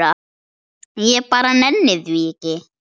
Ég bara nenni því ekki.